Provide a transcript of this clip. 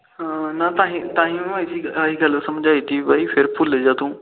ਤਾਹੀ ਆਹੀ ਗੱਲ ਸਮਝਾਈ ਬਾਈ ਫੇਰ ਭੁਲ ਜਾ ਤੂੰ